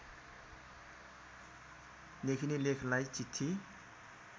लेखिने लेखलाई चिठी